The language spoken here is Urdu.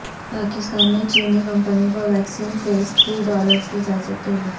پاکستان نے چینی کمپنی کو ویکسین فیز تھری ٹرائلز کی اجازت دے دی